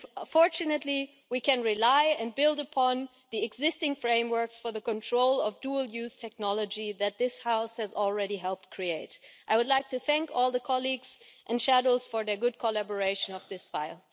Fortunately, we can rely and build upon the existing frameworks for the control of dual use technology that this House has already helped create. I would like to thank all the colleagues and shadows for their good collaboration on this file.